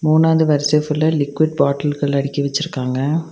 மூணாவது வரிசை ஃபுல்லா லிகுய்ட் பாட்டில்கள் அடுக்கி வச்சிருக்காங்க.